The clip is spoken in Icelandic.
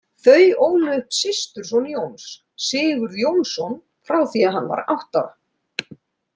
Þau ólu upp systurson Jóns, Sigurð Jónsson, frá því hann var átta ára.